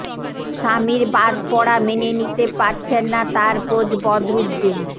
শামির বাদ পরা মেনে নিতে পারছেন না তাঁর কোচ বদরুদ্দিন